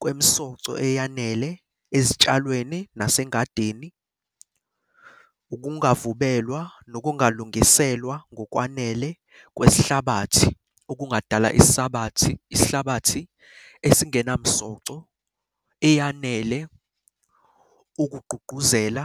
kwemsoco eyanele ezitshalweni nasengadini. Ukungavubelwa nokungalungiselwa ngokwanele kwesihlabathi, okungadala isihlabathi esingenamsoco eyanele ukugqugquzela